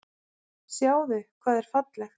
Sjáðu hvað er fallegt.